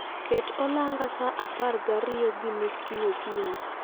Ket olanga sa apar gariyo gi nus kiny okinyi